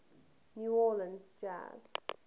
new orleans jazz